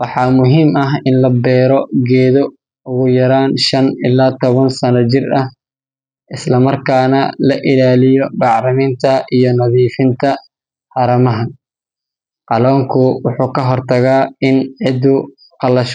waxaa muhiim ah in la beero geedo ugu yaraan shan ilaa toban sano jir ah, isla markaana la ilaaliyo bacriminta iyo nadiifinta haramaha. Qalonku wuxuu ka hortagaa in ciiddu qallasho.